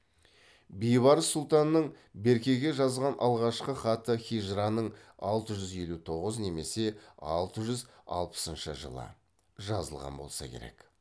бейбарыс сұлтанның беркеге жазған алғашқы хаты хижраның алты жүз елу тоғыз немесе алты жүз алпысыншы жылы жазылған болса керек